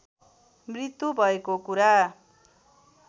मृत्यु भएको कुरा